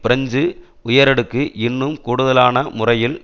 French உயரடுக்கு இன்னும் கூடுதலான முறையில்